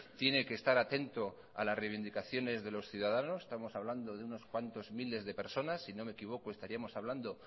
tiene que estar atento a las reivindicaciones de los ciudadanos estamos hablando de unos cuantos miles de personas si no me equivoco estaríamos hablando